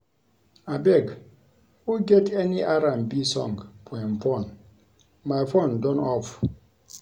Abeg who get any R&B song for im phone? My phone done off